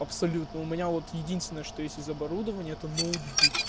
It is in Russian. абсолютно у меня вот единственное что есть из оборудования это ноутбук